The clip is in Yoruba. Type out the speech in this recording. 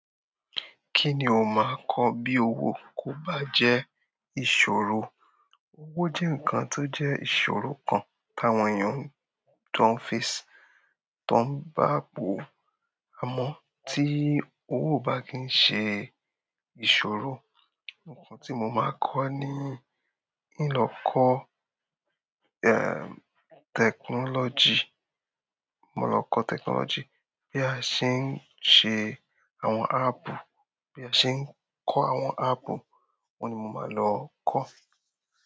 Kíni o máa kọ bí owó kò bá jẹ́ ìṣòro? Owó jẹ́ nǹkan tó jẹ́ ìṣòro kan táwọn èèyàn tó ń face, tó ń bá po. Àmọ́ tí owó o bá kì ń ṣe ìṣòro, nǹkan tí mo máa kọ̀ ní ìn lọ́kọ, eh, technology. Mo lọ kọ technology bí a ṣe ń ṣe àwọn app, bí a ṣe ń kọ́ àwọn app, oun ni mo máa lọ kọ́.